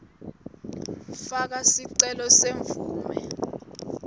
faka sicelo semvumo